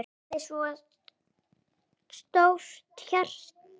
Hún hafði svo stórt hjarta.